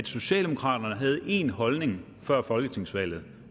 socialdemokraterne havde én holdning før folketingsvalget og